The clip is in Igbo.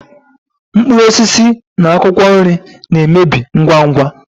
mkpụrụ osisi na akwụkwọ nri na-emebi ngwa ngwa.